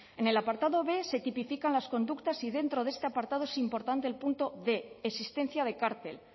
en el apartado b se tipifican las conductas y dentro de este apartado es importante el punto quinientos existencia de cártel